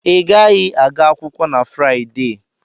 I gaghị aga akwụkwọ na Fraịdee!